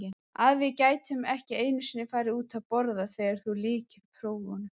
Að við gætum ekki einu sinni farið út að borða þegar þú lykir prófunum.